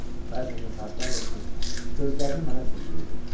Bəzən də saatlarla oturub gözlərini mənə zilləyirdi.